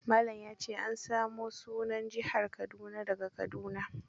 Malan ya ce an samo sunan Jihar Kaduna da ga kadduna.